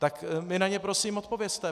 Tak mi na ně prosím odpovězte.